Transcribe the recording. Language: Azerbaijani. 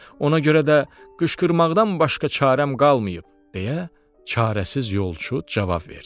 Ona görə də qışqırmaqdan başqa çarəm qalmayıb, deyə çarəsiz yolçu cavab verdi.